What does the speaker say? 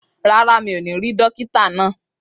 Rárá, mi ò ní rí dókítà náà.